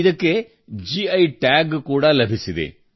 ಇದಕ್ಕೆ GI tag ಕೂಡಾ ಲಭಿಸಿದೆ